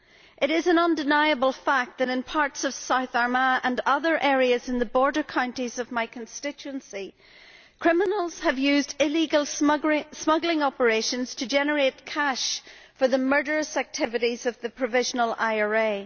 It is an undeniable fact that in parts of South Armagh and other areas in the border counties of my constituency, criminals have used illegal smuggling operations to generate cash for the murderous activities of the Provisional IRA.